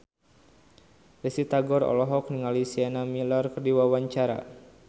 Risty Tagor olohok ningali Sienna Miller keur diwawancara